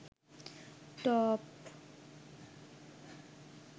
top